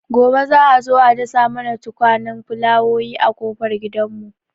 Gobe za'a zo a dasa mana tukwanen fulawowi a ƙofar gidan mu